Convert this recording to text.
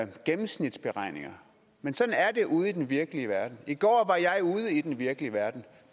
gennemsnitsberegninger men sådan er det ude i den virkelige verden i går var jeg ude i den virkelige verden